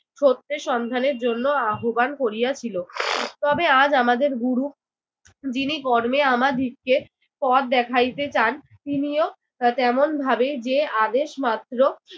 সত্যের সন্ধানের জন্য আহ্ববান করিয়াছিল। তবে আজ আমাদের গুরু যিনি কর্মে আমাদিগকে পথ দেখাইতে চান তিনিও তা তেমনভাবে যে আদেশমাত্র